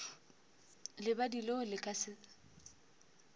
lebadi leo le ka se